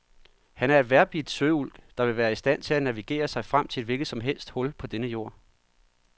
Han er en vejrbidt søulk, der vil være i stand til at navigere sig frem til et hvilket som helst hul på denne jord.